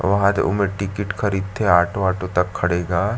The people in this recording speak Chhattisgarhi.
वाहद ओ मेर टिकट खरीद थे ऑटो उटो तक खड़े हे ग--